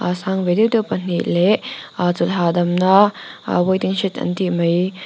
a sang ve deuh deuh pahnih leh ah chawlh hahdamna a waiting shed an tih mai.